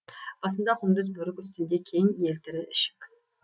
басында құндыз бөрік үстінде кең елтірі ішік